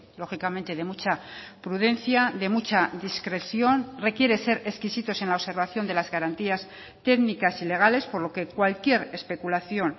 lógicamente de mucha prudencia de mucha discreción requiere ser exquisitos en la observación de las garantías técnicas y legales por lo que cualquier especulación